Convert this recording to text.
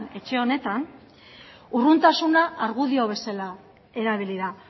etxe honetan urruntasuna argudio bezala erabili da